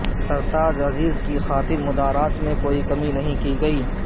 سرتاج عزیز کی خاطر مدارات میں کوئی کمی نہیں کی گئی